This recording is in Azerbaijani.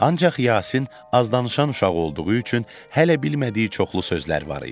Ancaq Yasin azdanışan uşaq olduğu üçün hələ bilmədiyi çoxlu sözlər var idi.